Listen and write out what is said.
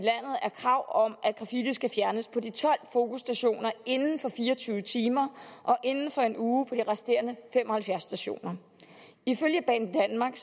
er krav om at graffiti skal fjernes på de tolv fokusstationer inden for fire og tyve timer og inden for en uge på de resterende fem og halvfjerds stationer ifølge banedanmark